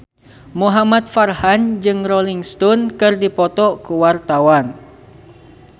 Muhamad Farhan jeung Rolling Stone keur dipoto ku wartawan